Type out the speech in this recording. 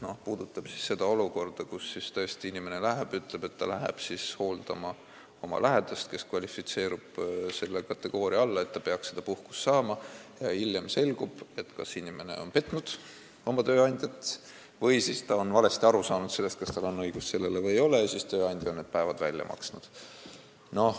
See puudutab seda olukorda, kus inimene läheb ja ütleb, et ta läheb hooldama oma lähedast, kes kvalifitseerub selle kategooria alla, et töötaja peaks seda puhkust saama, aga hiljem selgub, et inimene on kas petnud oma tööandjat või on ta valesti aru saanud sellest, kas tal on see õigus või ei ole, aga tööandja on nende päevade eest maksnud.